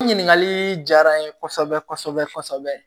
Ɲininkali diyara n ye kosɛbɛ kosɛbɛ kosɛbɛ